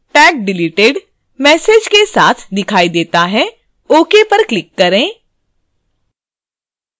एक और window tag deleted message के साथ दिखाई देता है ok पर click करें